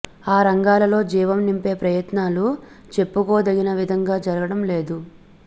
ఆ రంగాలలో జీవం నింపే ప్రయత్నాలు చెప్పుకోదగిన విధంగా జరగడం లేదు